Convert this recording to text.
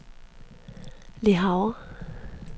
Le Havre